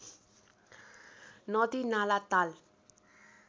नदी नाला ताल